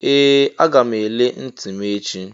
Ee! Aga m ele ntị m echi.